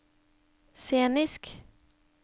scenisk